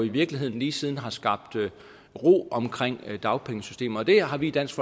i virkeligheden lige siden har skabt ro omkring dagpengesystemet det har vi i dansk